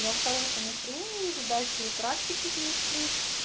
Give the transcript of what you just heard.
я в хорошем настроении видать и практики действует